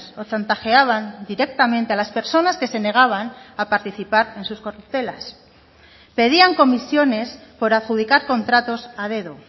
o chantajeaban directamente a las personas que se negaban a participar en sus corruptelas pedían comisiones por adjudicar contratos a dedo